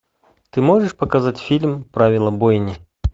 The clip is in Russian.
ты можешь показать фильм правила бойни